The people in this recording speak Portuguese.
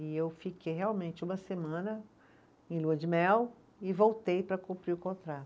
E eu fiquei realmente uma semana em lua de mel e voltei para cumprir o contrato.